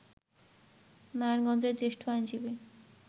নারায়ণগঞ্জের জ্যেষ্ঠ আইনজীবী